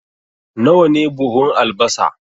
Nawa ne buhun albasa?